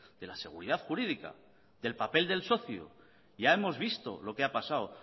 de la seguridad jurídica del papel del socio ya hemos visto lo que ha pasado